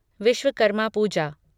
Vishwakarma Puja